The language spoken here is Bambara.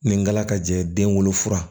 Nin galakajɛ den wolofa